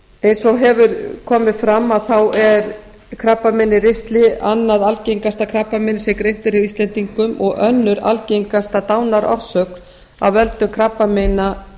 eins og hefur komið fram er krabbamein í ristli annað algengasta krabbameinið sem greint er hjá íslendingum og önnur algengasta dánarorsök af völdum krabbameina